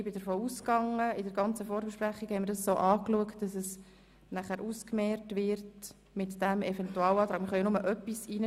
Im Verlauf der ganzen Vorbesprechung haben wir diesen Antrag hinsichtlich einer Ausmehrung betrachtet.